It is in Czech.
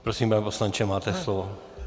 Prosím, pane poslanče, máte slovo.